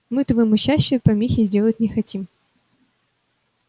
мы твоему счастию помехи сделать не хотим